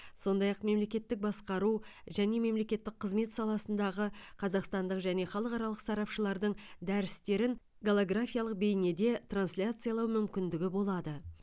сондай ақ мемлекеттік басқару және мемлекеттік қызмет саласындағы қазақстандық және халықаралық сарапшылардың дәрістерін голографиялық бейнеде трансляциялау мүмкіндігі болады